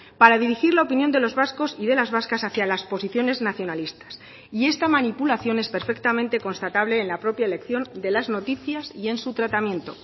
para dirigir la opinión de los vascos y de las vascas hacia las posiciones nacionalistas y esta manipulación es perfectamente constatable en la propia elección de las noticias y en su tratamiento